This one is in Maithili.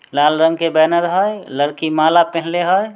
लाल रंग के बैनर हई लड़की माला पहिनले हई।